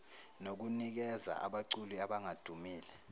nokunikeza abaculi abangadumile